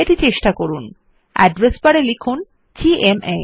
এটি চেষ্টা করুন addressবারে লিখুন জিএমএ